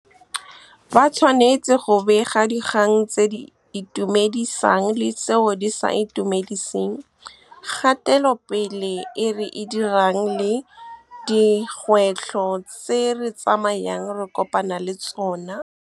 Ba tshwanetse go bega dikgang tse di itumedisang le tseo di sa itumediseng, kgatelopele e re e dirang le dikgwetlho tse re tsamayang re kopana le tsona. Ba tshwanetse go bega dikgang tse di itumedisang le tseo di sa itumediseng, kgatelopele e re e dirang le dikgwetlho tse re tsamayang re kopana le tsona.